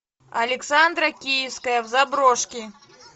александра киевская в заброшке